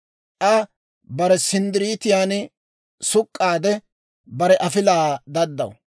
Aa bare sinddiriitan suk'k'aade, bare afilaa daddaw.